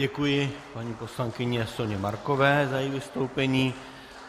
Děkuji paní poslankyni Soně Markové za její vystoupení.